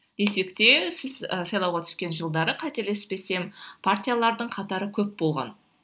десек те сіз ы сайлауға түскен жылдары қателеспесем партиялардың қатары көп болған